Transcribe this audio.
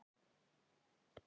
Og á hvaða verði?